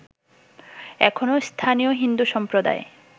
এখনো স্থানীয় হিন্দু সম্প্রদায়